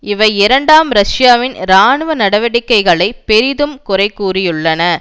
இவை இரண்டாம் ரஷ்யாவின் இராணுவ நடவடிக்கைகளை பெரிதும் குறை கூறியுள்ளன